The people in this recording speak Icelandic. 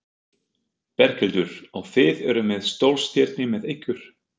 Berghildur: Og þið eruð með stórstirni með ykkur?